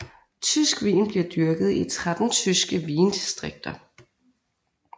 Tysk vin bliver dyrket i 13 tyske vindistrikter